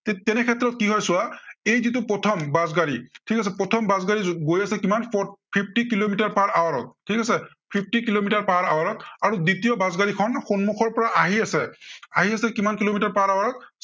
তে~তেনেক্ষেত্ৰত কি হয় চোৱা, এই যিটো প্ৰথম বাছ গাড়ী, ঠিক আছে, প্ৰথম বাছ গাড়ী গৈ আছে কিমান, four fifty kilometre per hour ত ঠিক আছে। fifty কিলোমিটাৰ per hour আৰু দ্বিতীয় বাছ গাড়ীখন সন্মখৰ পৰা আহি আছে, আহি আছে কিমান কিলোমিটাৰ per hour ত